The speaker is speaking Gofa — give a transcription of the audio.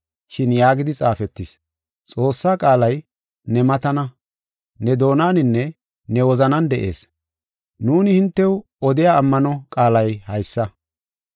Shin yaagidi xaafetis: ‘Xoossaa qaalay ne matana; ne doonaninne ne wozanan de7ees’ Nuuni hintew odiya ammano qaalay haysa.